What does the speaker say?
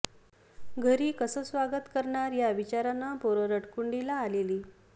घरी कसं जंगी स्वागत करणार या विचारानं पोरं रडकुंडीला आलेली